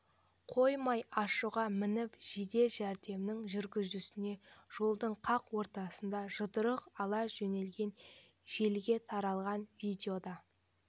қоймай ашуға мініп жедел жәрдемнің жүргізушісіне жолдың қақ ортасында жұдырық ала жөнелген желіге тараған видеода